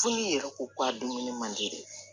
Foli yɛrɛ ko ko a dumuni man di dɛ